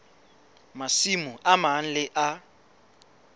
masimo a mang le a